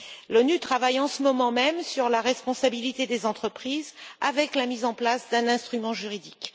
L'ONU travaille en ce moment même sur la responsabilité des entreprises, avec la mise en place d'un instrument juridique.